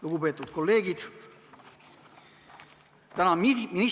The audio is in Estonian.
Lugupeetud kolleegid!